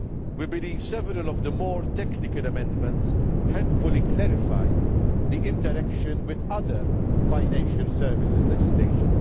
We believe that several of the more technical amendments helpfully clarify the interaction with other financial services legislation.